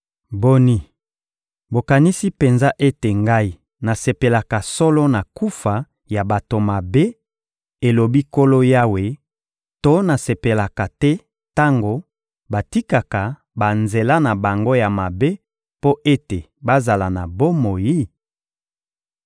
Boni, bokanisi penza ete Ngai nasepelaka solo na kufa ya bato mabe, elobi Nkolo Yawe, to nasepelaka te tango batikaka banzela na bango ya mabe mpo ete bazala na bomoi?